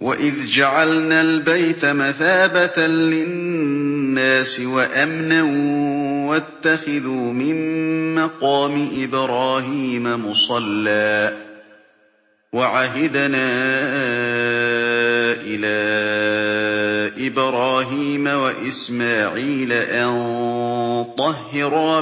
وَإِذْ جَعَلْنَا الْبَيْتَ مَثَابَةً لِّلنَّاسِ وَأَمْنًا وَاتَّخِذُوا مِن مَّقَامِ إِبْرَاهِيمَ مُصَلًّى ۖ وَعَهِدْنَا إِلَىٰ إِبْرَاهِيمَ وَإِسْمَاعِيلَ أَن طَهِّرَا